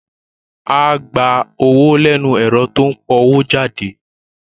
Áá gba owó lẹ́nu ẹ̀rọ tó ń powójáde